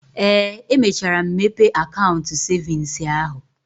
Ee, emechara m mepee akaụntụ cevins ahụ.